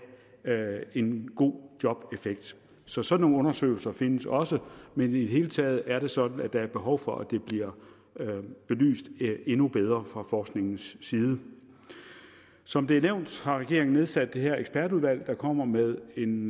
en god jobeffekt så sådan nogle undersøgelser findes også men i det hele taget er det sådan at der er behov for at det bliver belyst endnu bedre fra forskningens side som det er nævnt har regeringen nedsat det her ekspertudvalg der kommer med en